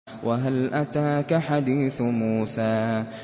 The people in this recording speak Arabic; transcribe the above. وَهَلْ أَتَاكَ حَدِيثُ مُوسَىٰ